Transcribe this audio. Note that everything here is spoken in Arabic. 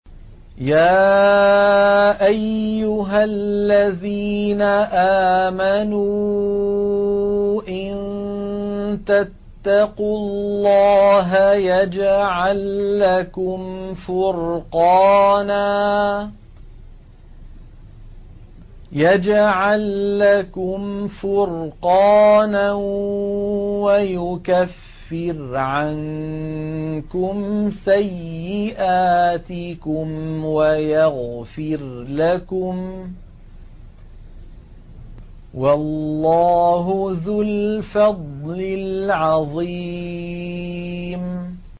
يَا أَيُّهَا الَّذِينَ آمَنُوا إِن تَتَّقُوا اللَّهَ يَجْعَل لَّكُمْ فُرْقَانًا وَيُكَفِّرْ عَنكُمْ سَيِّئَاتِكُمْ وَيَغْفِرْ لَكُمْ ۗ وَاللَّهُ ذُو الْفَضْلِ الْعَظِيمِ